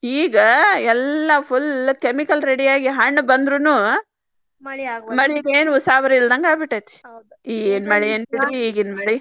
ಈಗ ಎಲ್ಲಾ full chemical ready ಹಣ್ ಬಂದ್ರುನು ಮಳಿದ ಏನ್ ಉಸಾಬರಿ ಇಲ್ಲದಂಗ್ ಆಗಿಬಿಟ್ಟೆತಿ ಏನ್ ಮಳಿ ಬಿಡ್ರಿ ಈಗಿನ ಮಳಿ.